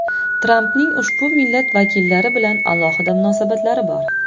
Trampning ushbu millat vakillari bilan alohida munosabatlari bor.